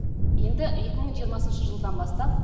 енді екі мың жиырмасыншы жылдан бастап